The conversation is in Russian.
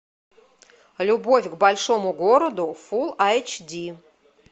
любовь к большому городу фул айч ди